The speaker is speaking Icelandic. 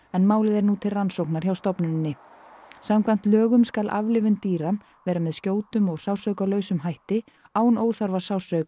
en málið er nú til rannsóknar hjá stofnuninni samkvæmt lögum skal aflífun dýra vera með skjótum og hætti án óþarfa